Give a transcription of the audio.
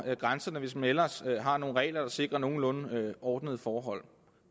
grænserne hvis man ellers har nogle regler der sikrer nogenlunde ordnede forhold